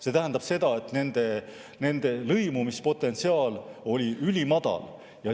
See tähendab seda, et nende lõimumispotentsiaal oli ülimadal.